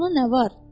Ona nə var?